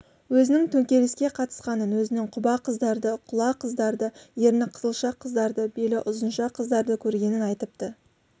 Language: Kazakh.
өзінің төңкеріске қатысқанын өзінің құба қыздарды құла қыздарды ерні қызылша қыздарды белі ұзынша қыздарды көргенін айтыпты